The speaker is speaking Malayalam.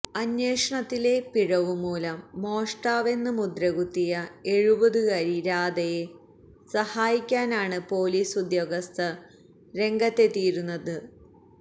അന്വേഷണത്തിലെ പിഴവുമൂലം മോഷ്ടാവെന്ന് മുദ്ര കുത്തിയ എഴുപതുകാരി രാധയെ സഹായിക്കാനാണ് പോലീസ് ഉദ്യോഗസ്ഥർ രംഗത്തെത്തിയിരിക്കുന്നത്